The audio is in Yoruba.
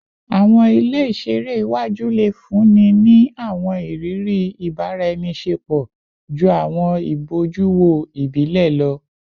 Awọn ile iṣere iwaju le funni ni awọn iriri ibaraenisepo ju awọn ibojuwo ibile lọ